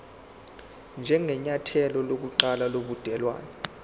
njengenyathelo lokuqala lobudelwane